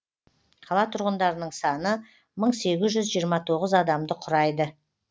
қала тұрғындарының саны мың сегіз жүз жиырма тоғыз адамды құрайды